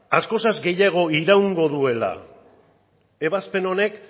askoz gehiago iraungo duela ebazpen honek